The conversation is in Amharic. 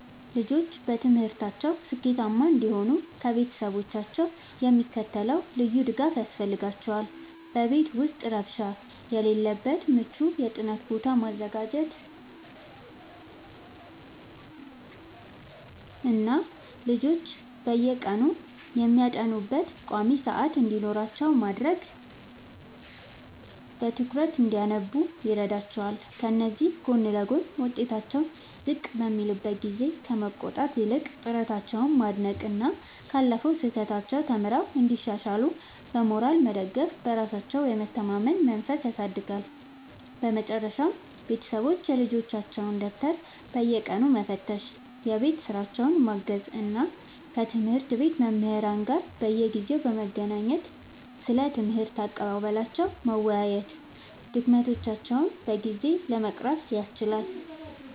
ልጆች በትምህርታቸው ስኬታማ እንዲሆኑ ከቤተሰቦቻቸው የሚከተለው ልዩ ድጋፍ ያስፈልጋቸዋል፦ በቤት ውስጥ ረብሻ የሌለበት ምቹ የጥናት ቦታ ማዘጋጀትና ልጆች በየቀኑ የሚያጠኑበት ቋሚ ሰዓት እንዲኖራቸው ማድረግ በትኩረት እንዲያነቡ ይረዳቸዋል። ከዚህ ጎን ለጎን፣ ውጤታቸው ዝቅ በሚልበት ጊዜ ከመቆጣት ይልቅ ጥረታቸውን ማድነቅና ካለፈው ስህተት ተምረው እንዲሻሻሉ በሞራል መደገፍ በራሳቸው የመተማመን መንፈስን ያሳድጋል። በመጨረሻም ቤተሰቦች የልጆቻቸውን ደብተር በየቀኑ መፈተሽ፣ የቤት ሥራቸውን ማገዝ እና ከትምህርት ቤት መምህራን ጋር በየጊዜው በመገናኘት ስለ ትምህርት አቀባበላቸው መወያየት ድክመቶቻቸውን በጊዜ ለመቅረፍ ያስችላል።